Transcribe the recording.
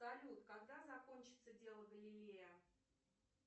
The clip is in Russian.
салют когда закончится дело галилея